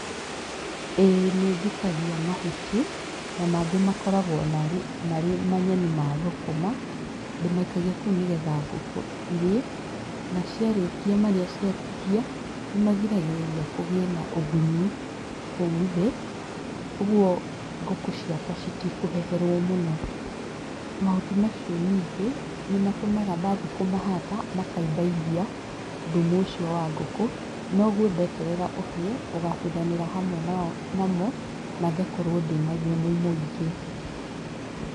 Ĩĩ nĩ njikagia mahuti ,na mangĩ makoragwo marĩ manyeni ma thũkũma. Ndĩmaikagia kou nĩgetha ngũkũ ĩrie ,na ciarĩkia marĩa ciatigia ,nĩmagiragĩrĩria kũgĩe na ũgunyu kou thĩ, ũguo ngũkũ ciakwa ĩtikũheherwo mũno. Mahuti macio ningĩ nĩ matũmaga ndathiĩ kũmahata makaibaibia thumu ũcio wa ngũkũ, niguo ndeterera ũhĩe ũgabuthanĩra hamwe namo mangĩkorwo nĩ na thumu mũingĩ.